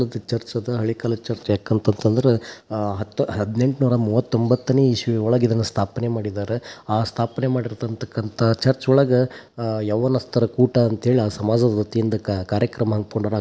ಅದ್ ಚರ್ಚ್ ಅದ ಹಳೆ ಕಾಲ ಚರ್ಚ್ ಯಾಕಂತಂದ್ರ ಅಹ್ ಹತ್ ಹದಿನೆಂಟು ನೂರಾ ಮುವತ್ತ ಒಂಬತ್ತನೆ ಇಷ್ವಿದೊಳಗ ಇದನ್ನ ಸ್ಥಾಪನೆ ಮಾಡಿದಾರ. ಆ ಸ್ಥಾಪನೆ ಮಾಡಿರ್ತಕಂತ ಚರ್ಚ್ ಒಳಗ ಅಹ್ ಯವನಸ್ತರ ಕೂಟ ಅಂಥೇಳಿ ಆ ಸಮಾಜ ದ್ವಾತಿಯಿಂದ ಕಾರ್ಯಕ್ರಮ ಅನಕೊಂಡಾರ--